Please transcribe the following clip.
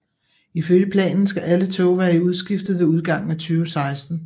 Ifølge planen skal alle tog være udskiftet ved udgangen af 2016